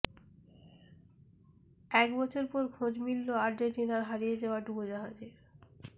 এক বছর পর খোঁজ মিলল আর্জেন্টিনার হারিয়ে যাওয়া ডুবোজাহাজের